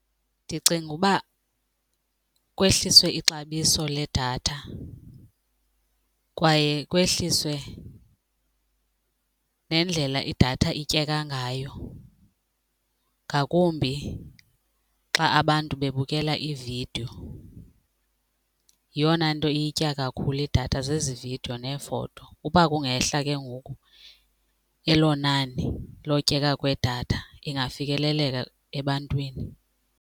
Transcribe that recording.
Ndicinga uba kwehliswe ixabiso ledatha kwaye kwehliswe nendlela idatha ityeka ngayo ngakumbi xa abantu bebukela ividiyo yeyona nto iyitya kakhulu idatha zezi vidiyo neefoto. Uba kungehla ke ngoku elo nani lotyeka kwedatha ingafikeleleka ebantwini.